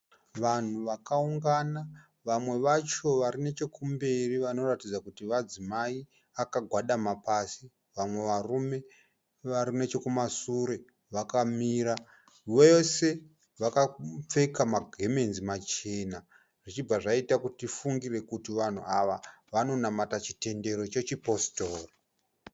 Vanhu vakaungana vamwe vacho varinechekumberi vanoratidza kuti vadzimai vakagwadama pasi vamwe varume varinechekumasure vakamira. Vose vakapfeka magemenzi machena zvichibva zvaita kuti tifungire kuti vanhu ava vanonamata chitendero chechipostori.